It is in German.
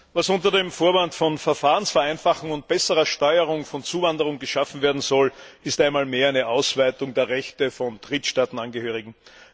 Herr Präsident! Was unter dem Vorwand von Verfahrensvereinfachung und besserer Steuerung von Zuwanderung geschaffen werden soll, ist einmal mehr eine Ausweitung der Rechte von Drittstaatenangehörigen.